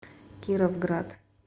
кировград